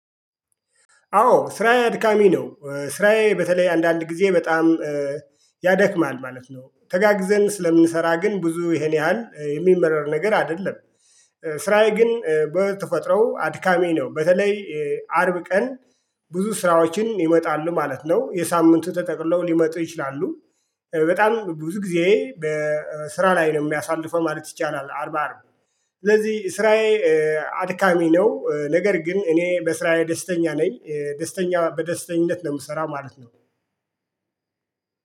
አዎ ስራዬ አድካሚ ነው ስራዬ በተለይ አንዳንድ ጊዜ በጣም ያደክማል ማለት ነው። ተጋግዘን ስለምንሰራ ግን ብዙ ይሄን ያህል የሚመረር ነገር አይደለም። ስራዬ ግን በተፈጥሮው አድካሚ ነው። በተለይ አርብ ቀን ብዙ ስራዎች ይመጣሉ ማለት ነው የሳምንቱ ተጠቅሎ ሊመጡ ይችላሉ። በጣም ብዙ ጊዜ በስራ ላይ ነው የሚያሳልፈው ማለት ይቻላል። አርባ አርብ ስለዚህ ስራዬ አድካሚ ነው። ነገር ግን እኔ በስራዬ ደስተኛ ነኝ ደስተኛ በደስተኛነት ነው የምሰራው ማለት ነው።